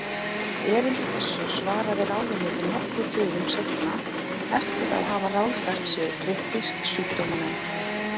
Erindi þessu svaraði ráðuneytið nokkrum dögum seinna eftir að hafa ráðfært sig við Fisksjúkdómanefnd.